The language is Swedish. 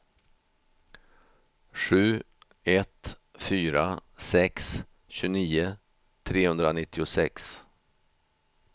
sju ett fyra sex tjugonio trehundranittiosex